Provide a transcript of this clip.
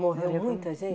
Morreu muita